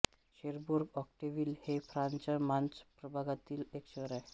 Cherbourg-Octeville हे फ्रांसच्या Manche प्रभागातील एक शहर आहे